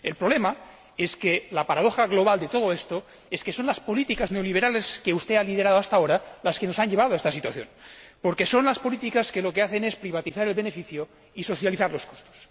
El problema, la paradoja global de todo esto, es que son las políticas neoliberales que usted ha liderado hasta ahora las que nos han llevado a esta situación, porque son unas políticas que no hacen sino privatizar el beneficio y socializar los costes.